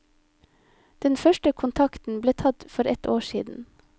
Den første kontakten ble tatt for ett år siden.